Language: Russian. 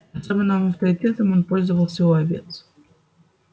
особенным авторитетом он пользовался у овец